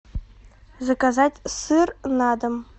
заказать сыр на дом